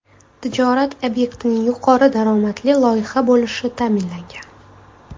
Tijorat obyektining yuqori daromadli loyiha bo‘lishi ta’minlangan.